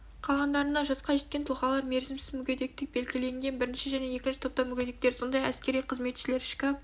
қалғандарына жасқа жеткен тұлғалар мерзімсіз мүгедектік белгіленген бірінші және екінші топтағы мүгедектер сондай-ақ әскери қызметшілер ішкі